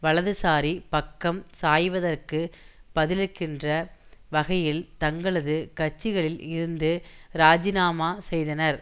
வலதுசாரி பக்கம் சாய்வதற்கு பதிளிக்கின்ற வகையில் தங்களது கட்சிகளில் இருந்து இராஜினாமா செய்தனர்